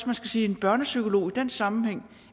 man skal sige at en børnepsykolog i den sammenhæng